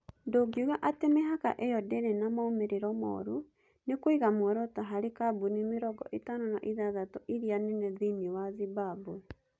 Ndũngiuga atĩ mĩhaka ĩyo ndĩrĩ na moimĩrĩro moru nĩ kũiga muoroto harĩ kambuni mĩrongo ĩtano na ithathatũ irĩa nene thĩinĩ wa Zimbabwe.